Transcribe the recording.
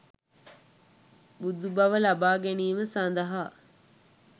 බුදුබව ලබා ගැනීම සඳහා